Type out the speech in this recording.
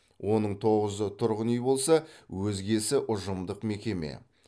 оның тоғызы тұрғын үй болса өзгесі ұжымдық мекеме